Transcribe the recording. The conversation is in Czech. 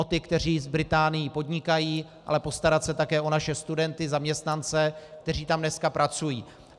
O ty, kteří s Británií podnikají, ale postarat se také o naše studenty, zaměstnance, kteří tam dneska pracují.